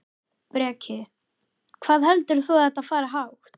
Breki: Hvað heldur þú að þetta fari hátt?